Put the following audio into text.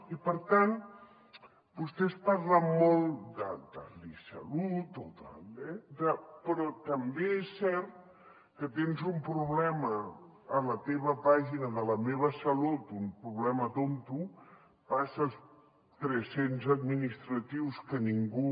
i per tant vostès parlen molt de l’i salut però també és cert que tens un problema a la teva pàgina de la meva salut un problema tonto passes tres cents administratius que ningú